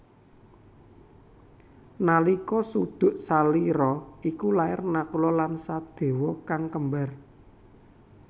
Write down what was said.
Nalika suduk salira iku lair Nakula lan Sadewa kang kembar